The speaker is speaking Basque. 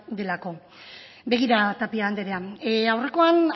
delako begira tapia anderea aurrekoan